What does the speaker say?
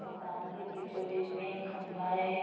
मैदान के बीचो-बीच में एक खंबा है ।